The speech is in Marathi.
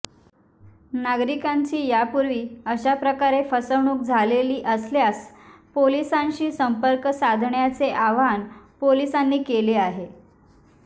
नागरिकांची यापूर्वी अशा प्रकारे फसवणूक झालेली असल्यास पोलिसांशी संपर्क साधण्याचे आवाहन पोलिसांनी केले आहे